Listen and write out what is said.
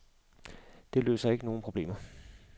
Det løste ikke nogen problemerne.